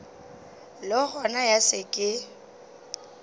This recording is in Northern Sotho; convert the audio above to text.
le gona ya se ke